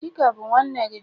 Chika bu nwanne gi?